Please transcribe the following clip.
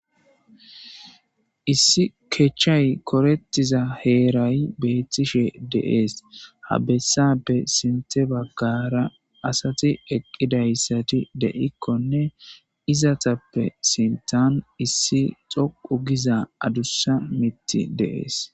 issi kechchay korettiza heeray beettishe deees ha bessappe sinte baggara asati eqqidayssati de7ikkonne izatappe sintan issi xoqu giza adussa mitti deees